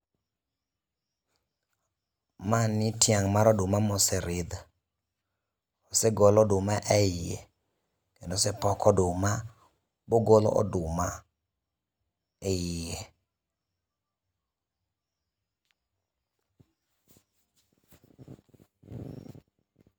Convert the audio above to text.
Mani tiang' mar oduma moseridh. Osegol oduma eiye kendo osepok oduma mogol oduma eiye.